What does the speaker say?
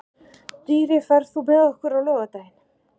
Dýri, ferð þú með okkur á laugardaginn?